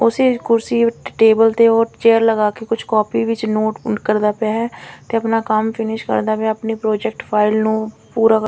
ਉਸੇ ਕੁਰਸੀ ਟੇਬਲ ਤੇ ਚੇਅਰ ਲਗਾ ਕੇ ਕੁਝ ਕਾਪੀ ਵਿੱਚ ਨੋਟ ਕਰਦਾ ਪਿਆ ਹੈ ਤੇ ਆਪਣਾ ਕੰਮ ਫਿਨਿਸ਼ ਕਰਦਾ ਮੈਂ ਆਪਣੀ ਪ੍ਰੋਜੈਕਟ ਫਾਈਲ ਨੂੰ ਪੂਰਾ--